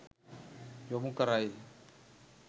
යොමු කරයි.